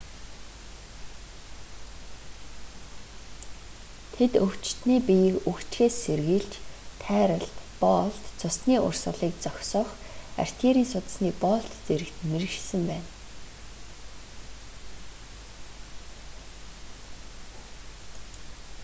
тэд өвчтөний биеийг үхжихээс сэргийлж тайралт боолт цусний урсгалыг зогсоох артерийн судасны боолт зэрэгт мэргэшсэн байна